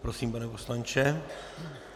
Prosím, pane poslanče.